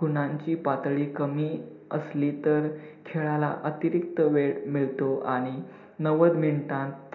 गुणांची पातळी कमी असली तर खेळाला अतिरिक्त वेळ मिळतो आणि नव्वद minutes त